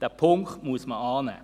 Diesen Punkt muss man annehmen.